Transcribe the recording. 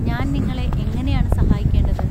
ഞാൻ നിങ്ങളെ എങ്ങനെയാണ് സഹായിക്കേണ്ടത്?